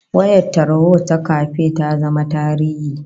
Wayar tarho ta kafe ta zama tarihi